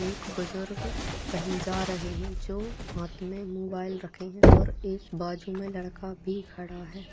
एक बुजुर्ग कहीं जा रहे है जो हाथ में मोबाइल रखे है और एक बाजु में लड़का भी खड़ा है।